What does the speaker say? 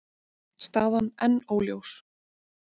Staðan enn óljós